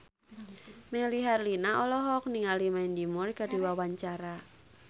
Melly Herlina olohok ningali Mandy Moore keur diwawancara